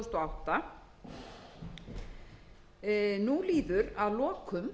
átta nú líður að lokum ársins tvö þúsund og